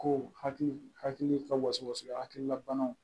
Ko hakili ka waso hakilina banaw